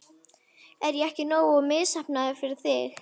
Er ég ekki nógu misheppnaður fyrir þig?